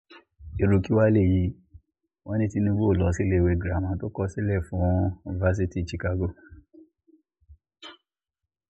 irú kí wàá léyìí wọ́n ní tinubu ò lọ síléèwé girama tó kọ sílẹ̀ fún fásitì chicago